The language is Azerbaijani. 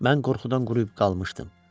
Mən qorxudan quruyub qalmışdım.